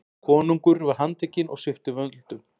Konungur var handtekinn og sviptur völdum.